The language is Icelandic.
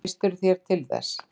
Treystirðu þér til þess?